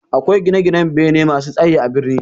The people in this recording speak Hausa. Akwai gine-ginan bene masu tsaye a birni.